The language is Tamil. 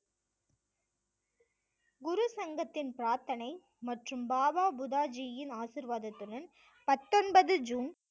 குரு சங்கத்தின் பிரார்த்தனை மற்றும் பாபா புதாஜியின் ஆசிர்வாதத்துடன் பத்தொன்பது ஜூன்